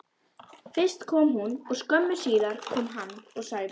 Fyrst kom hún og skömmu síðar kom hann og sagði: